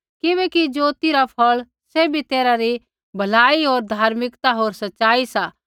किबैकि ज्योति रा फ़ौल़ सैभी तैरहा री भलाई होर धर्मिकता होर सच़ाई सा